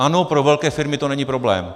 Ano, pro velké firmy to není problém.